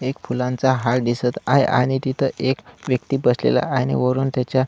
एक फुलांचा हार दिसत आहे आणि तिथ एक व्यक्ति बसलेला आहे आणि वरून त्याच्या--